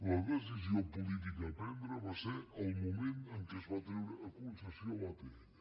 la decisió política a prendre va ser al moment en què es va treure a concessió l’atll